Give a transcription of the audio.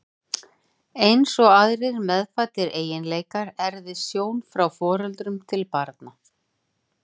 Eins og aðrir meðfæddir eiginleikar erfist sjón frá foreldrum til barna.